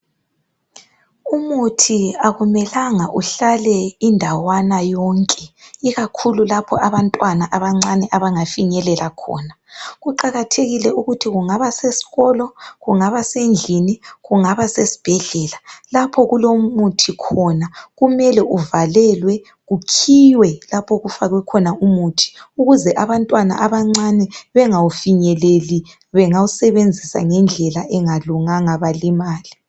Umuthi akumelanga uhlale indawana yonke ikakhulu lapho abantwana abancane abangafinyelela khona. Kuqakathekile ukuthi kungaba sesikolo, kungaba sendlini, kungaba sesibhedlela, lapho okulomuthi khona kumele uvalelwe kukhiywe lapho okufakwe khona umuthi ukuze abantwana abancane bengawufinyeleli. Bengawusebenzisa ngendlela engalunganga belimale.